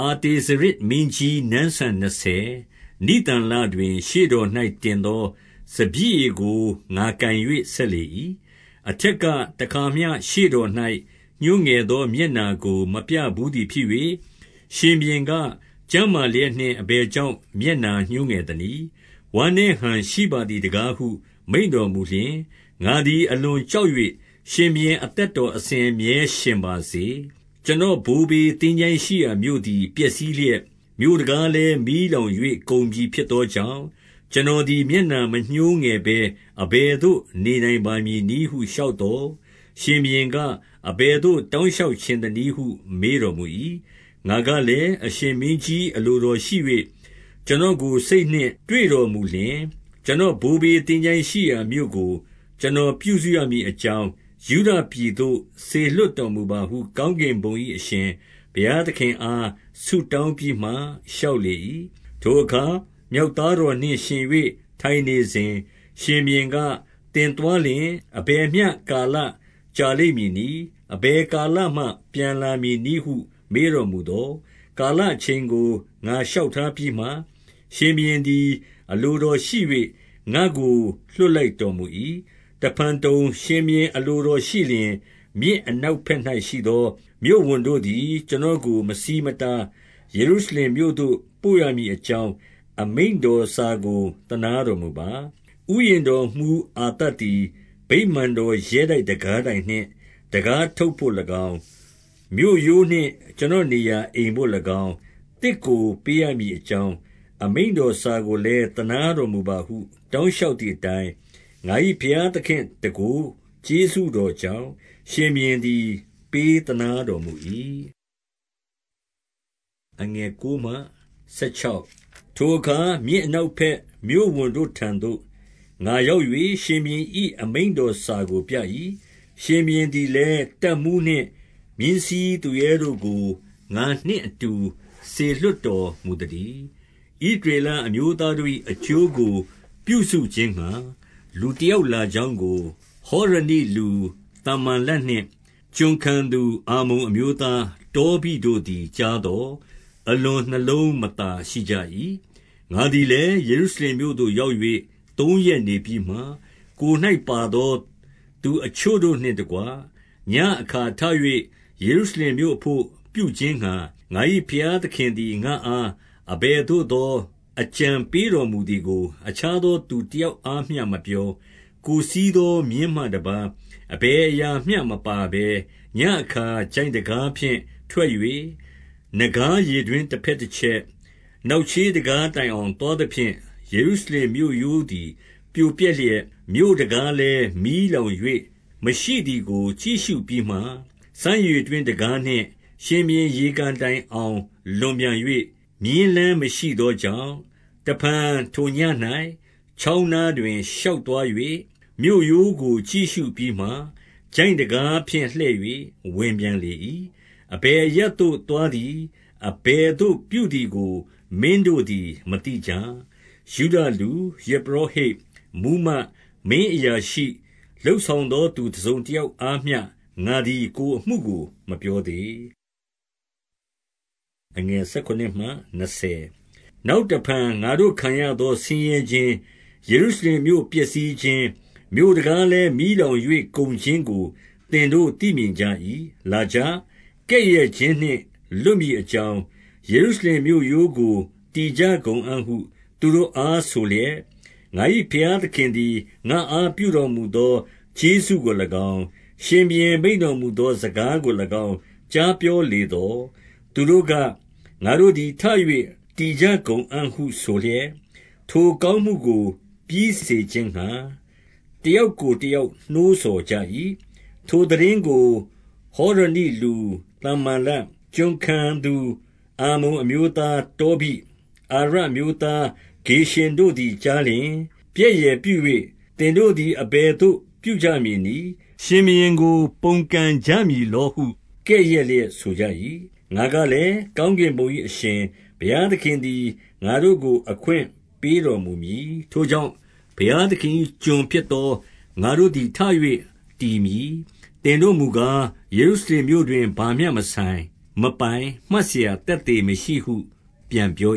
အာတဇေရဇ်မင်းကြီး နန်းစံနှစ်ဆယ်၊ နိသန်လ တွင် ရှေ့တော်၌ တင်သောစပျစ်ရည်ကို ငါကိုင်၍ ဆက် လေ၏။ 2 အထက်ကတခါမျှ ရှေ့တော်၌ ညှိုးငယ်သော မျက်နှာကို မပြဘူးသည်ဖြစ်၍၊ ရှင်ဘုရင်က၊ ကျန်းမာ လျက်နှင့် အဘယ်ကြောင့် မျက်နှာညှိုးငယ်သနည်း။ ဝမ်း နည်းဟန်ရှိပါသည်တကားဟု မိန့်တော်မူလျှင်၊ 3 ငါသည်အလွန်ကြောက်၍၊ ရှင်ဘုရင် အသက် တော်အစဉ်အမြဲရှင်ပါစေ။ ကျွန်တော်ဘိုးဘေး သင်္ချိုင်း ရှိရာမြို့သည် ပျက်စီးလျက်၊ မြို့တံခါးလည်း မီးလောင်၍ ကုန်ပြီဖြစ်သောကြောင့်၊ ကျွန်တော်သည် မျက်နှာ မညှိုး ငယ်ဘဲ အဘယ်သို့ နေနိုင်ပါမည်နည်းဟု လျှောက်သော်၊ 4 ရှင်ဘုရင်က၊ အဘယ်သို့ တောင်းလျှောက်ချင် သနည်းဟု မေးတော်မူ၏။ ငါကလည်း အရှင်မင်းကြီး အလိုတော်ရှိ၍ ကျွန်တော်ကို စိတ်နှင့်တွေ့တော်မူလျှင်၊ ကျွန်တော် ဘိုးဘေးသင်္ချိုင်းရှိရာမြို့ကို ကျွန်တော် ပြုစု ရမည်အကြောင်း၊ 5 ယုဒပြည်သို့ စေလွှတ်တော်မူပါစေဟု ကောင်းကင် ဘုံ၏အရှင် ဘုရားသခင်အား ဆုတောင်းပြီး မှ လျှောက်လေ၏။ 6 ထိုအခါ မြောက်သားတော်နှင့် ယှဉ်ပြိုင်၍ ထိုင်နေစဉ်၊ ရှင်ဘုရင်က၊ သင်သွားလျှင် အဘယ်မျှ ကာလကြာလိမ့်မည်နည်း။ အဘယ်ကာလမှ ပြန်လာမည် နည်းဟု မေးတော်မူသော်၊ ကာလအချိန်ကို ငါလျှောက် ထားပြီးမှ၊ ရှင်ဘုရင်သည် အလိုတော်ရှိ၍ ငါ့ကို လွှတ် လိုက်တော်မူ၏။ 7 တဖန်တုံ၊ ရှင်ဘုရင် အလိုတော်ရှိလျှင်၊ မြစ် အနောက်ဘက်၌ရှိသော မြို့ဝန်တို့သည် ကျွန်တော်ကို မဆီးမတား၊ ယေရုရှလင်မြို့သို့ ပို့ရမည်အကြောင်း၊ အမိန့်တော်စာကို သနားတော်မူပါ။ 8 ဥယျာဉ်တော်မှူးအာသပ်သည် ဗိမာန်တော် ရဲတိုက်တံခါးတိုင်နှင့် တံခါးထုပ်ဘို့၎င်း၊ မြို့ရိုးနှင့် ကျွန်တော်နေရာ အိမ်ဘို့၎င်း၊ သစ်ကိုပေးရမည် အကြောင်း၊ အမိန့်တော်စာကိုလည်း သနားတော်မူပါဟု တောင်းလျှောက်သည်အတိုင်း၊ ငါ၏ ဘုရားသခင့်တန်ခိုး ကျေးဇူးတော်ကြောင့် ရှင်ဘုရင်သည် ပေးသနားတော် မူ၏။ 9 ထိုအခါ မြစ်အနောက်ဘက်မြို့ဝန်တို့ထံသို့ ငါရောက်၍ ရှင်ဘုရင်၏ အမိန့်တော်စာကိုပြ၏။ ရှင်ဘုရင်သည်လည်း တပ်မှူးနှင့် မြင်းစီးသူရဲတို့ကို ငါနှင့် အတူ စေလွှတ်တော်မူသတည်း။ 10 ဣသရေလအမျိုးသားတို့၏ အကျိုးကို ပြုစု ခြင်းငှါ၊ လူတယောက် လာကြောင်းကငိ၊ ဟောရနိလူ သမ္ဘာလက်နှင့် ကျွန်ခံသူ အမ္မုန်အမျိုးသား တောဘိတို့ သည် ကြားသော်၊ အလွန်နှလုံးမသာရှိကြ၏။ 11 ငါသည်လည်း၊ ယေရုရှလင်မြို့သို့ ရောက်၍ သုံးရက်နေပြီးမှ၊ 12 ကိုယ်၌ပါသော သူအချို့တို့နှင့် တကွ၊ ညဉ့်အခါ ထ၍ ယေရုရှလင်မြို့အဘို့ ပြုခြင်းငှါ၊ ငါ၏ဘုရားသခင် သည် ငါ့အား အဘယ်သို့သော အကြံပေးတော်မူသည်ကို၊ အခြားသော သူတယောက်အားမျှမပြော၊ ကိုယ်စီးသော မြင်းမှတပါး အဘယ်အရာမျှမပါဘဲ၊ 13 ညဉ့်အခါ ချိုင့်တံခါးဖြင့်ထွက်၍၊ နဂါးရေတွင်း တဘက်တချက်၊ နောက်ချေးတံခါးတိုင်အောင် သွား သဖြင့်၊ ယေရုရှလင်မြို့ရိုးသည် ပြိုပျက်လျက်၊ မြို့တံခါး လည်း မီးလောင်၍ မရှိသည်ကို ကြည့်ရှုပြီးမှ၊ 14 စမ်းရေတွင်းတံခါးနှင့် ရှင်ဘုရင်ရေကန်တိုင် အောင် လွန်ပြန်၍၊ မြင်းလမ်းမရှိသောကြောင့်၊ 15 တဖန်ထိုညဉ့်၌ ချောင်းနားတွင် ရှောက်သွား၍၊ မြို့ရိုးကို ကြည့်ရှုပြီးမှ၊ ချိုင့်တံခါးဖြင့်လှည့်၍ ဝင်ပြန် လေ၏။ 16 အဘယ်အရပ်သို့သွားသည်၊ အဘယ်သို့ပြုသည် ကို မင်းတို့သည် မသိကြ။ ယုဒလူ၊ ယဇ်ပုရောဟိတ်၊ မှူးမတ်၊ မင်းအရာရှိ၊ လုပ်ဆောင်သော သူတစုံ တယောက်အားမျှ ငါသည် ကိုယ်အမှုကိုမပြောသေး။ 17 နောက်တဖန်၊ ငါတို့ခံရသောဆင်းရဲခြင်း၊ ယေရု ရှလင်မြို့ပျက်စီးခြင်း၊ မြို့တံခါးလည်း မီးလောင်၍ ကုန်ခြင်းကို သင်တို့သိမြင်ကြ၏။ လာကြ။ ကဲ့ရဲ့ခြင်းနှင့် လွတ်မည်အကြောင်း၊ ယေရုရှလင်မြို့ရိုးကို တည်ကြ ကုန်အံ့ဟု သူတို့အားဆိုလျက်၊ 18 ငါ၏ ဘုရားသခင်သည် ငါ့အားပြုတော်မူသော ကျေးဇူးကို၎င်း၊ ရှင်ဘုရင် မိန့်တော်မူသော စကားကို၎င်း ကြားပြောလေသော်၊ သူတို့က၊ ငါတို့သည် ထ၍ တည်ကြ ကုန်အံ့ဟုဆိုလျက်၊ ထိုကောင်းမှုကို ပြီးစေခြင်းငှါ၊ တယောက်ကိုတယောက် နှိုးဆော်ကြ၏။ 19 ထိုသိတင်းကို ဟောရနိလူသမ္ဘာလတ်၊ ကျွန်ခံသူ အမ္မုန်အမျိုးသား တောဘိ၊ အာရပ်အမျိုးသား ဂေရှင်တို့ သည် ကြားလျှင်၊ ပြက်ယယ်ပြု၍ သင်တို့သည် အဘယ်သို့ ပြုကြမည်နည်း။ ရှင်ဘုရင်ကို ပုန်ကန်ကြမည်လောဟု ကဲ့ရဲ့လျက်ဆိုကြ၏။ 20 ငါကလည်း၊ ကောင်းကင်ဘုံ၏အရှင် ဘုရား သခင်သည် ငါတို့ကို အခွင့်ပေးတော်မူမည်။ ထိုကြောင့် ဘုရားသခင်၏ ကျွန်ဖြစ်သော ငါတို့သည် ထ၍တည်မည်။ သင်တို့မူကား၊ ယေရုရှလင်မြို့တွင် ဘာမျှမဆိုင်မပိုင်၊ မှတ်စရာသက်သေမရှိဟု ပြန်ပြော